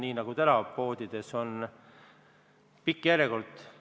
Tänagi on poodides pikad järjekorrad.